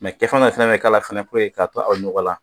kɛfɛn fana kan k'a k'a bila aw ɲɔgɔn la